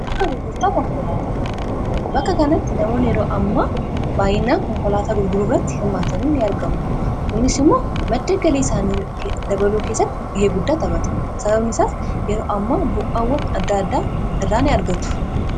bakka kanatti namoonni yeroo amma baayyinaa konkolaataa gurguruu irratti hirmaatanii in argamu. kunis immoo madda galii isaanii dabaluu keessatti gahee guddaa taphata sababni isaas yeroo amma bu'awwan adda addaa irraa ni argatu.